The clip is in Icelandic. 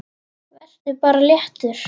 Vertu bara léttur!